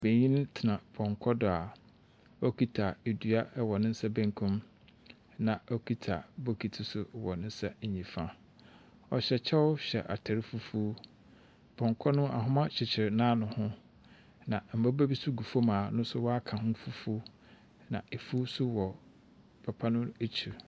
Benyin tena pɔnkɔ do a ɔkita dua wɔ ne nsa benkum mu na ɔkita bokiti nso wɔ ne nsa nifa. Ↄhyɛ kyɛw hyɛ ataar fufu. Pɔnkɔ no ahoma kyekyer n’ano ho. Na mmoba bi nso gu fam a wɔaka ho fufu, na efu nso wɔ papa no ekyir.